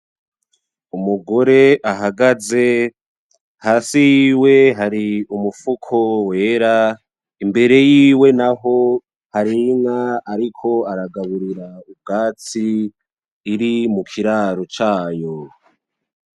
Umugore ahagaze. Hasi yiwe hari umufuko wera imbere yiwe naho har' inka ariko aragaburira ubwatsi iri mukiraro cayo.